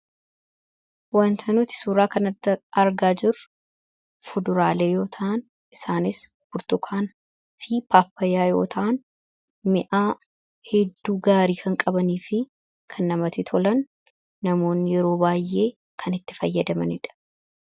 wanta nuti suuraa kan argaa jiru fuduraalee yoo ta'an. isaanis burtukaan fi paappayaa yoo ta'an mi'aa hedduu gaarii kan qabanii fi kan namatii tolan namoonii yeroo baay'ee kan itti fayyadamaniidha.